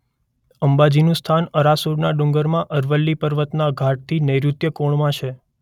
અંબાજીનું સ્થાન આરાસુરના ડુંગરમાં અરવલ્લી પર્વતના ઘાટથી નૈઋત્ય કોણમાં છે.